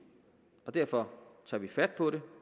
derfor tager vi fat på det